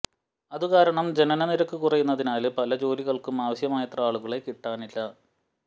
അതു കാരണം ജനനനിരക്കു കുറയുന്നതിനാല് പല ജോലികള്ക്കും ആവശ്യമായത്ര ആളുകളെ കിട്ടാനില്ല